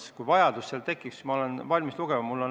Aga kui see vajadus tekib, siis ma olen valmis teksti ette lugema.